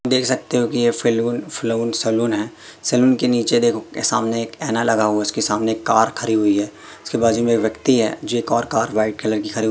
देख सकते हो कि ये फैलून फ़्लोन सलून है सलून के नीचे देखो सामने एक ऐना लगा हुआ है उसके सामने एक कार खरी हुई है उसके बाजू मे एक व्यक्ति है जो एक और कार व्हाइट कलर की खरी --